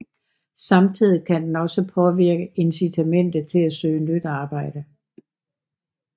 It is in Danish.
Samtidig kan den også påvirke incitamentet til at søge nyt arbejde